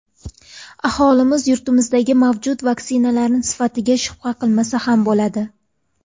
Aholimiz yurtimizdagi mavjud vaksinalarning sifatiga shubha qilmasa ham bo‘ladi.